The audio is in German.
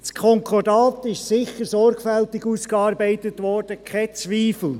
Das Konkordat wurde sicher sorgfältig ausgearbeitet, kein Zweifel.